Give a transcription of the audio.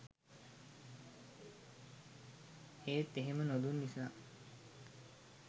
ඒත් එහෙම නොදුන් නිසා